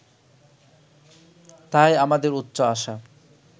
তাই আমাদের উচ্চ আশা